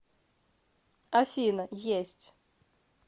афина есть